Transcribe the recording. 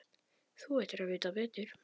Þú ættir að vita betur!